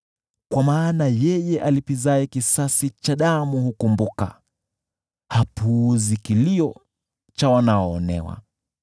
Kwa maana yeye alipizaye kisasi cha damu hukumbuka, hapuuzi kilio cha wanaoonewa.